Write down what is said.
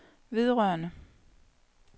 vedrørende